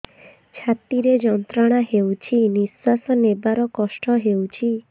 ଛାତି ରେ ଯନ୍ତ୍ରଣା ହେଉଛି ନିଶ୍ଵାସ ନେବାର କଷ୍ଟ ହେଉଛି